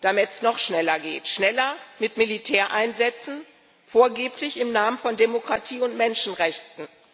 Damit es noch schneller geht, schneller mit Militäreinsätzen, vorgeblich im Namen von Demokratie und Menschenrechten.